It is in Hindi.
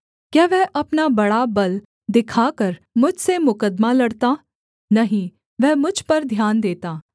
क्या वह अपना बड़ा बल दिखाकर मुझसे मुकद्दमा लड़ता नहीं वह मुझ पर ध्यान देता